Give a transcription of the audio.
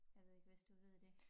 Jeg ved ikke hvis du ved det